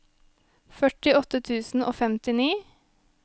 førtiåtte tusen og femtini